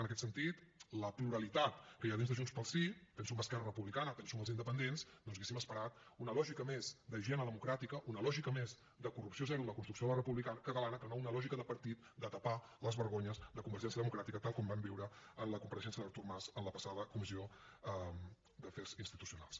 en aquest sentit de la pluralitat que hi ha dins de junts pel sí penso en esquerra republicana penso en els independents hauríem esperat una lògica més d’higiene democràtica una lògica més de corrupció zero en la construcció de la república catalana que no una lògica de partit de tapar les vergonyes de convergència democràtica tal com vam viure en la compareixença d’artur mas en la passada comissió d’afers institucionals